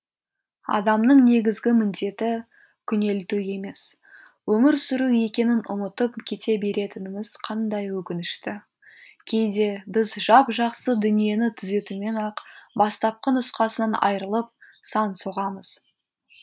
адамның негізгі міндеті күнелту емес өмір сүру екенін ұмытып кете беретініміз қандай өкінішті кейде біз жап жақсы дүниені түзетумен ақ бастапқы нұсқасынан айырылып сан соғамыз